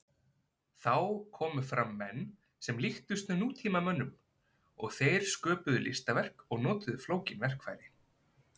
Þá komu fram menn sem líktust nútímamönnum og þeir sköpuðu listaverk og notuðu flókin verkfæri.